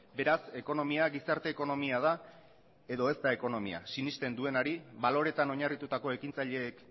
beraz ekonomia gizarte ekonomia da edo ez da ekonomia sinesten duenari baloretan oinarritutako ekintzaileek